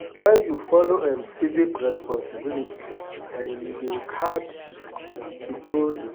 When you follow um civic responsibility, um you dey add to grow di.